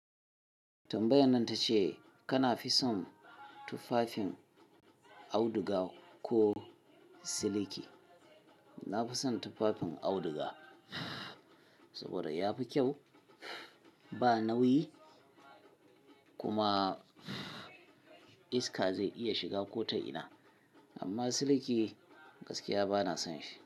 Tambayan nan ta ce kana fi son tufafin auduga ko siliki? Na fi son tufafin auduga saboda yafi kyau, ba nauyi kuma iska zai iya shiga ko ta ina amma siliki gaskiya bana son shi.